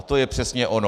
A to je přesně ono.